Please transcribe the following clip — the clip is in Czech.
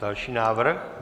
Další návrh.